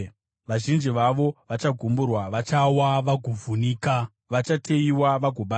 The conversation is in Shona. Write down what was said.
Vazhinji vavo vachagumburwa; vachawa vagovhunika, vachateyiwa vagobatwa.”